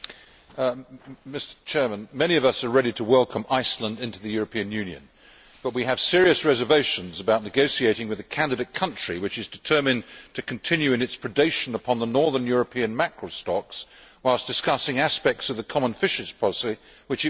Mr President, many of us are ready to welcome Iceland into the European Union, but we have serious reservations about negotiating with a candidate country which is determined to continue in its predation upon the northern European mackerel stocks whilst discussing aspects of the common fisheries policy which it wants to be changed.